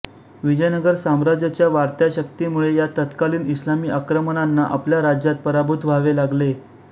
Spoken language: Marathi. विजयनगर साम्राज्याच्या वाढत्या शक्तीमुळे या तत्कालिन इस्लामी आक्रमकांना आपल्या राज्यात पराभूत व्हावे लागले